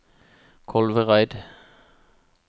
Kolvereid